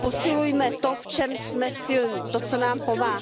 Posilujme to, v čem jsme silní, to, co nám pomáhá.